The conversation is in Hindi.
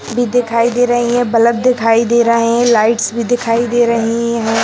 भी दिखाई दे रही हैं बल्प दिखाई दे रहे हैं लाइट्स भी दिखाई दे रही हैं।